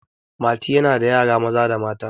mati yana da yara Maza da mata